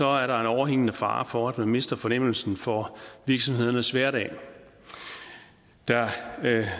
er der en overhængende fare for at man mister fornemmelsen for virksomhedernes hverdag der